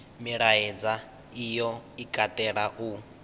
milaedza iyo i katela u